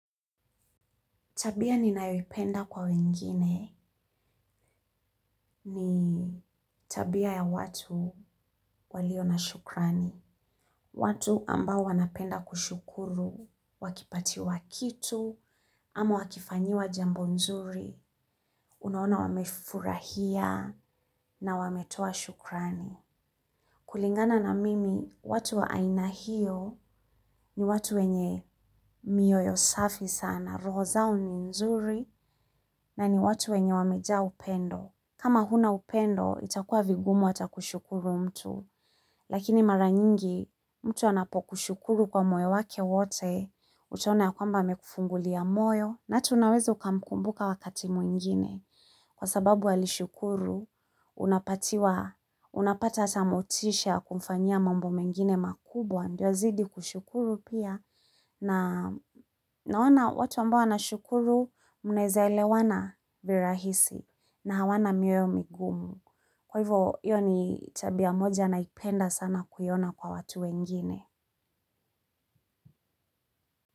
Tabia ninayoipenda kwa wengine ni tabia ya watu walio na shukrani. Watu ambao wanapenda kushukuru, wakipatiwa kitu, ama wakifanyiwa jambo nzuri, unaona wamefurahia na wametoa shukrani. Kulingana na mimi, watu wa aina hio ni watu wenye mioyo safi sana, roho zao ni nzuri na ni watu wenye wamejaa upendo. Kama huna upendo, itakuwa vigumu hata kushukuru mtu, lakini mara nyingi, mtu anapokushukuru kwa moyo wake wote, utaona ya kwamba amekufungulia moyo, na hata unaweza ukamkumbuka wakati mwingine. Kwa sababu alishukuru, unapatiwa, unapata hata motisha kumfanyia mambo mengine makubwa, ndio azidi kushukuru pia, na naona watu ambao wanashukuru mnaweza elewana rahisi, na hawana mioyo migumu. Kwa hivyo, hiyo ni tabia ya moja naipenda sana kuiona kwa watu wengine.